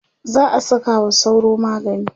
za'a Saka wa sauro magani